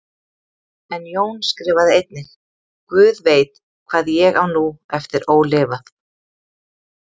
En Jón skrifaði einnig: guð veit, hvað ég á nú eftir ólifað.